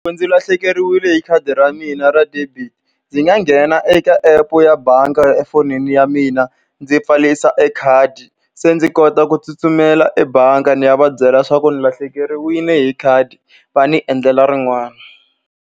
Ndzi lahlekeriwile hi khadi ra mina ra debit, ndzi nga nghena eka epu ya bangi ya efonini ya mina, ndzi pfarisa e khadi. Se ndzi kota ku tsutsumela ebangi ni ya va byela leswaku ndzi lahlekeriwile hi khadi va ni endlela rin'wana.